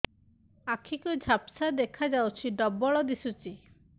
ଆଖି କୁ ଝାପ୍ସା ଦେଖାଯାଉଛି ଡବଳ ଦିଶୁଚି